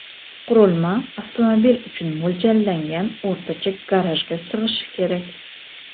Qurilma avtomobil uchun mo‘ljallangan o‘rtacha garajga sig‘ishi kerak.